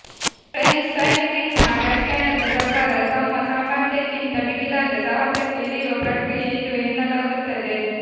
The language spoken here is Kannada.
ಫ್ರೆಂಚ್ ಸೈಕ್ಲಿಂಗ್ನ ವ್ಯಾಖ್ಯಾನದ ಪ್ರಕಾರ ತಮ್ಮ ಸಾಮರ್ಥ್ಯಕ್ಕಿಂತ ಮಿಗಿಲಾದ ಸಾಹಸಕ್ಕೆ ಇಳಿಯುವ ಪ್ರಕ್ರಿಯೆ ಇದು ಎನ್ನಲಾಗುತ್ತದೆ